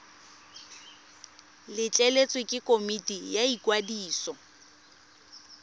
letleletswe ke komiti ya ikwadiso